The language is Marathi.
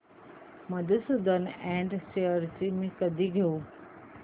मधुसूदन इंड शेअर्स मी कधी घेऊ